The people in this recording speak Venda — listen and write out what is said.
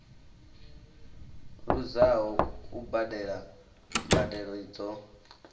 luzaho u badela mbadelo dzo